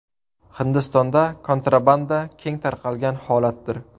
Hindistonda kontrabanda keng tarqalgan holatdir.